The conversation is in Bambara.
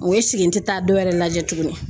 esiki n tɛ taa dɔwɛrɛ lajɛ tuguni.